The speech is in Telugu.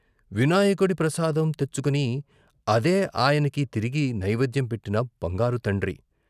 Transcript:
వినాయకుడి ప్రసాదం తెచ్చుకుని అదే ఆయనకి తిరిగి నైవేద్యం పెట్టిన బంగారు తండ్రి.......